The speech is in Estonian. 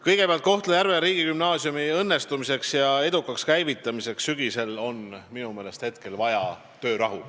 Kõigepealt, Kohtla-Järve riigigümnaasiumi edukaks käivitamiseks sügisel on minu meelest hetkel vaja töörahu.